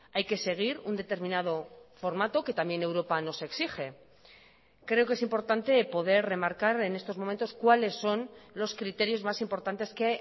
hay que seguir un determinado formato que también europa nos exige creo que es importante poder remarcar en estos momentos cuáles son los criterios más importantes que